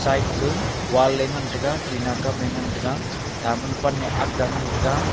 side wall e ngan taiga tina kam e ngan taiga tamul pan e akga ngan taiga.